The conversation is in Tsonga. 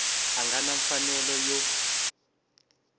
a nga na mfanelo yo